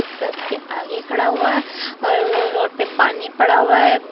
बस के आगे खड़ा हुआ है और रोड पर पानी पड़ा हुआ है।